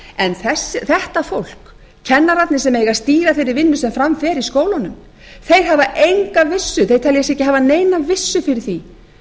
en þetta fólk kennararnir sem eiga að stýra þeirri vinnu sem fram fer í skólunum hafa enga vissu þeir telja sig ekki hafa neina vissu fyrir því